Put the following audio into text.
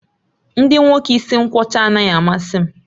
Ndị nwoke isi nkwọcha anaghị amasị m